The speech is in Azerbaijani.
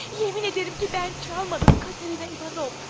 Yemin edirəm ki, mən çalmadım, Katerina İvanovna!